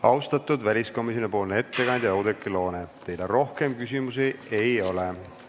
Austatud väliskomisjoni ettekandja Oudekki Loone, teile rohkem küsimusi ei ole.